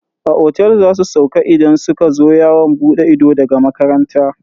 A otel za su sauka idan suka zo yawon bude ido daga makaranta.